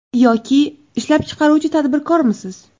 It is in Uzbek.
Yoki ishlab chiqaruvchi tadbirkormisiz?